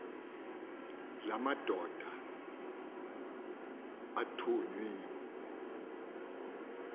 la madoda athunywe